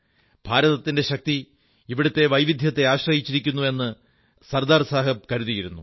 ഭാരതത്തിന്റെ ശക്തി ഇവിടത്തെ വൈവിധ്യത്തെ ആശ്രയിച്ചിരിക്കുന്നു എന്ന് സർദാർ സാഹബ് കരുതിയിരുന്നു